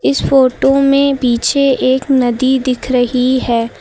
इस फोटो में पीछे एक नदी दिख रही है।